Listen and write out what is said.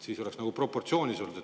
Siis oleks nagu proportsioonis olnud.